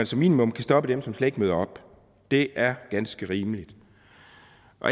som minimum kan stoppe dem som slet ikke møder op det er ganske rimeligt